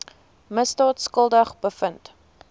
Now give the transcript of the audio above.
misdaad skuldig bevind